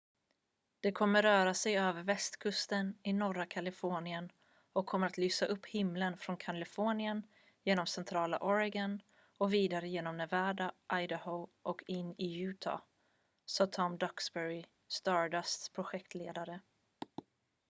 """det kommer att röra sig över västkusten i norra kalifornien och kommer att lysa upp himlen från kalifornien genom centrala oregon och vidare genom nevada och idaho och in i utah," sa tom duxbury stardusts projektledare.